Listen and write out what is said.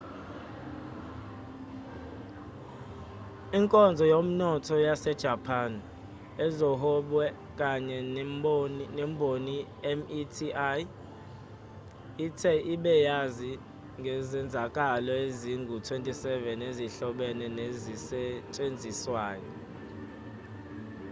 inkonzo yomnotho yasejapani ezohwebo kanye nemboni meti ithe ibe yazi ngezenzakalo ezingu-27 ezihlobene nezisetshenziswa